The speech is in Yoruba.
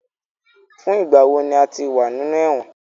Fun igba wo ni o ti wa ninu ẹwọn?